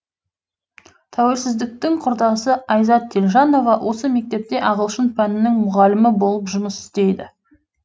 тәуелсіздіктің құрдасы айзат телжанова осы мектепте ағылшын пәнінің мұғалімі болып жұмыс істейді